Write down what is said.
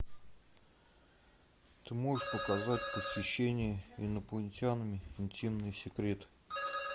ты можешь показать похищение инопланетянином интимные секреты